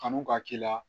Kanu ka k'i la